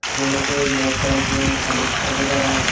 खिलोनों के बॉक्स है जो हेलीकॉप्टर वगैरह--